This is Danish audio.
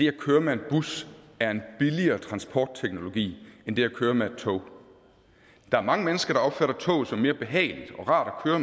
at køre med en bus er en billigere transportteknologi end det at køre med et tog der er mange mennesker der opfatter toget som mere behageligt og rart at